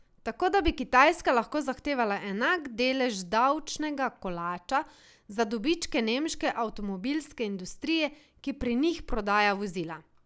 Tako da bi Kitajska lahko zahtevala enak delež davčnega kolača za dobičke nemške avtomobilske industrije, ki pri njih prodaja vozila.